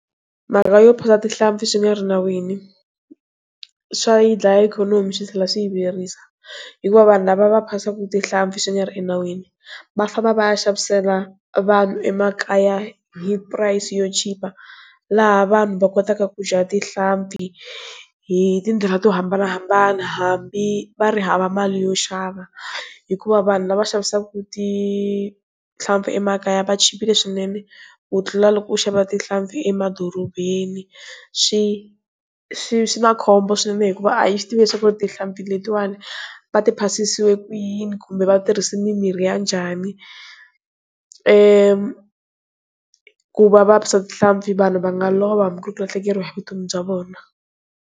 Mhaka yo phasa tihlampfi swi nga ri nawini swa yi dlaya ikhonomi swi tlhela swi yi vuyerisa hikuva vanhu lava va phasaka tihlampfi swi nga ri enawini va famba va ya xavisela vanhu emakaya hi price yo chipa laha vanhu va kotaka ku dya tihlampfi hi tindlela to hambanahambana hambi va ri hava mali yo xava hikuva vanhu lava xavisaka tihlampfi emakaya va chipile swinene ku tlula loko u xava tihlampfi emadorobeni swi swi na khombo swinene hikuva a hi swi tivi leswaku ri tihlampfi letiwani va ti phasisiwe ku yini kumbe vatirhisi mimirhi ya njhani ku va va phasa tihlampfi vanhu va nga lova ku lahlekeriwa hi vutomi bya vona.